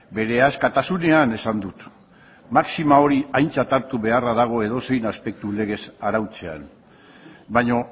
bere askatasunean esan dut maxima hori aintzat hartu beharra dago edozein aspektu legez arautzean baina